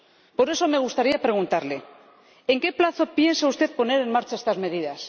Por eso, me gustaría preguntarle ¿En qué plazo piensa usted poner en marcha estas medidas?